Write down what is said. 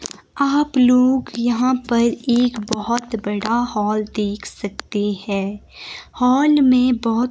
आप लोग यहां पर एक बहोत बड़ा हॉल देख सकते हैं हॉल में बहोत--